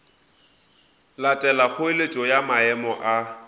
latela kgoeletšo ya maemo a